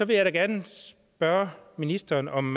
vil jeg da gerne spørge ministeren om